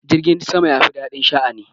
Jirgin sama ya fi daɗin sha'ani.